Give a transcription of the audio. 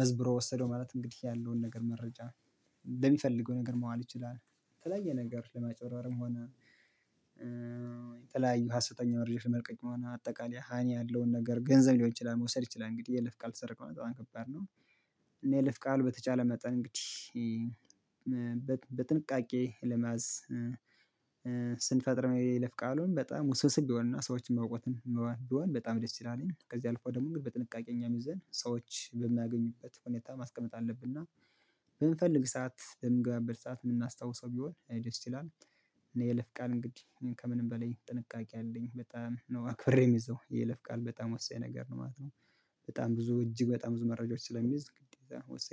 መዝብሮ ወሰደው ማለት እንግዲህ ያለውን ነገር መረጃ ለሚፈልገው ነገር መዋል ይችላል። የተለያየ ነገር ለማጭበርበርም ሆነ እ የተለያዩ ሀሰተኛ ወሬዎችን መልቀቅ ሆነ አጠቃላይ ሀኒ ያለውን ነገር ገንዘብ ሊሆን ይችላል መውሰድ ይችላል። እንግዲህ የይለፍ ቃል ተሰረክ ማለት በጣም ከባድ ነው። እኔ የይለፍ ቃል በተቻለ መጠን እንግዲህ በጥንቃቄ ለመያዝ ስንፈጥር የይለፍ ቃሉን በጣም ውስብስብ ቢሆንና ሰዎችን ማውቀትም ቢሆን በጣም ደስ ይላል ከዚህ አልፎ ደግሞ እንግዲህ በጥንቃቄ እኛምይዘን ሰዎች በሚያገኙበት ሁኔታ ማስቀመጥ አለብንና። በምንፈልግ ሰዓት በምንገባበት ሰዓት የምናስታውሰው ቢሆን ደስ ይላል። እኔ የይለፍ ቃል እንግዲህ ከምንም በላይ ጥንቃቄ አለኝ በጣም ነው አክብሬ ምይዘው የይለፍ ቃል በጣም ወሳኝ ነገር ነው ማለት ነው። በጣም ብዙ እጅግ በጣም ብዙ መረጃዎች ስለሚይዝ ግዴታ ነው